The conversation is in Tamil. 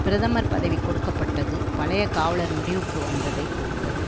பிரதமர் பதவி கொடுக்க பட்டது பழைய காவலர் முடிவுக்கு வந்ததை குறித்தது